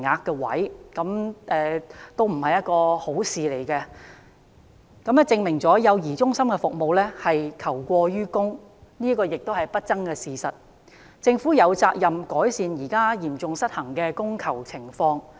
這不是一件好事，亦證明了幼兒中心服務求過於供是不爭的事實，政府有責任改善現時嚴重失衡的供求情況。